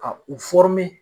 Ka u